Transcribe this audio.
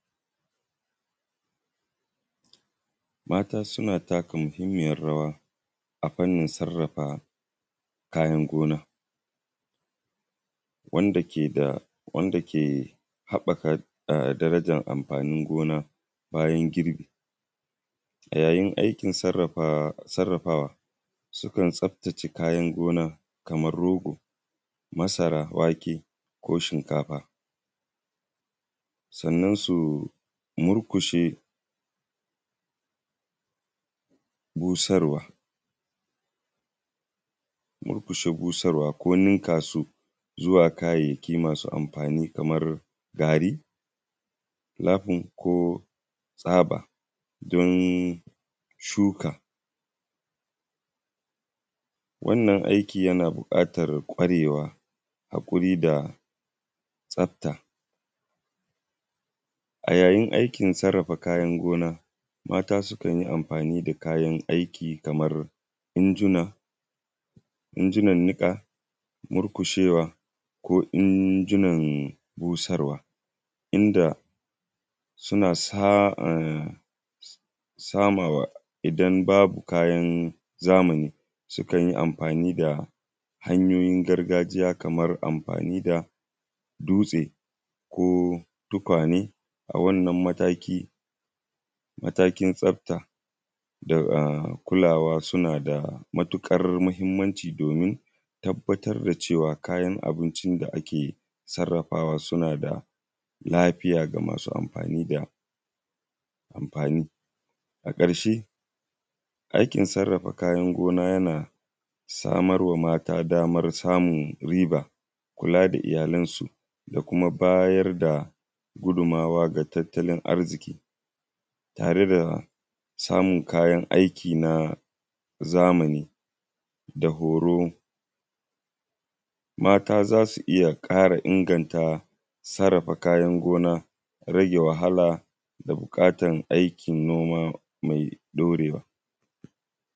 Mata suna taka muhimmiyar rawa a fannin sarrafa kayan gona, wanda ke haɓɓaka darajar amfanin gona bayan girbi. Amfanin aiki sarrafawa sukan tsaftace kayan gona kamar rogo masara wake ko shinkafa. Sannan su murƙushe busarwa ko ninka su zuwa kayayyaki masu amfani ko tsaba shuka. Wannan aiki yana buƙatar ƙwarewa ko tsafta a yayin aikin sarrafa kayan gona, mata sukan yi amfani da injina ninka murƙushewa ko injinan busarwa inda suna sama wa idan babu Kayan zamani sukan yi amfani da hanyoyi gargajiya kamar amfani da dutse ko tukwane, a wannan matakin tsafta da kumawa suna da matuƙar mahimmanci domin tabbatar da cewa kayan abincin da ake sarrafawa suna da lafiya ga masu amfani da su. A ƙarshe aikin sarrafa kayan gona ya samar ma mata damar sumun riba kula da iyalansu da kuma bayar da gudummawa ga tattalin arziki yare da samun kayna aiki na zamani da goro. Mata za su iya ƙara inganta sarrafa Kayan gona rage wahala buƙatar aikin noma mai daurewa